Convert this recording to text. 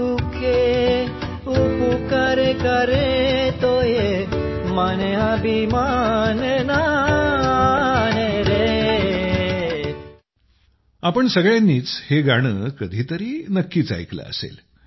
तुम्ही सगळ्यांनीच हे गाणं कधीतरी नक्कीच ऐकलं असेल